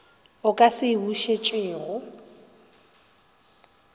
o ka se e bušetšwego